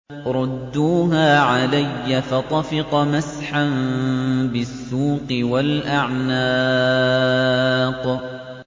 رُدُّوهَا عَلَيَّ ۖ فَطَفِقَ مَسْحًا بِالسُّوقِ وَالْأَعْنَاقِ